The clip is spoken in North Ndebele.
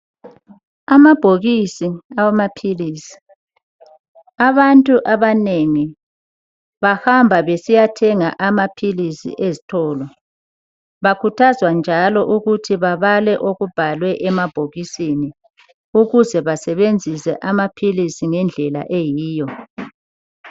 Amabhokisi awamaphilisi. Abantu abanengi bahamba besiyathenga amaphilisi ezitolo. Bakhuthazwa njalo ukuthi babale okubhalwe emabhokisini ukuze basebenzise amaphilisi ngendlela eyiyo.